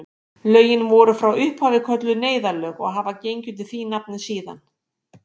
Lögin voru frá upphafi kölluð neyðarlögin og hafa gengið undir því nafni síðan.